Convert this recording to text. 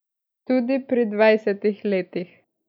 Tudi pri dvajsetih letih.